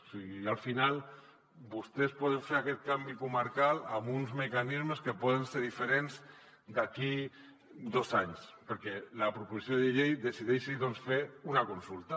o sigui al final vostès poden fer aquest canvi comarcal amb uns mecanismes que poden ser diferents d’aquí dos anys perquè la proposició de llei decideixi doncs fer una consulta